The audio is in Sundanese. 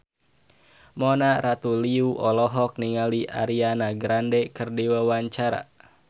Mona Ratuliu olohok ningali Ariana Grande keur diwawancara